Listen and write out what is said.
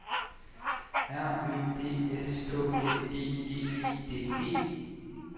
R Ø D S K Æ G G E D E